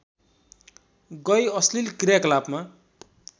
गई अश्लील क्रियाकलापमा